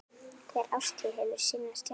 Hver árstíð hefur sinn sjarma.